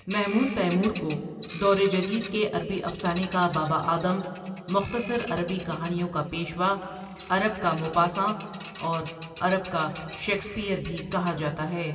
Mahmood Taymour کو دور جدید کے عربی افسانے کا بابا آدم، مختصر عربی کہانیوں کا پیشوا، عرب کا موپاساں اور عرب کا شیکسپئیر بھی کہا جاتا ہے۔